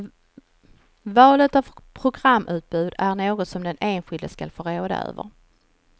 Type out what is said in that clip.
Valet av programutbud är något som den enskilde skall få råda över.